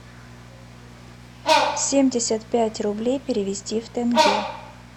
семьдесят пять рублей перевести в тенге